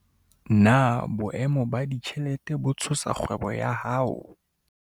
Na boemo ba ditjhelete bo tshosa kgwebo ya hao?